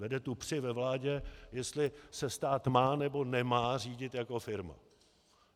Vede tu při ve vládě, jestli se stát má, nebo nemá řídit jako firma.